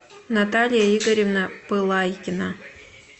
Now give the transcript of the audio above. наталья игоревна пылайкина